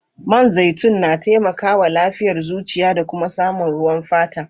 Man zaitun na taimaka wa lafiyar zuciya da kuma samun ruwan fata.